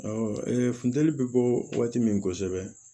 funteni bɛ bɔ waati min kosɛbɛ